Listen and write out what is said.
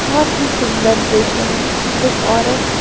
बोहोत ही सुन्दर दृश्य हे एक औरत--